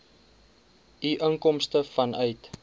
u inkomste vanuit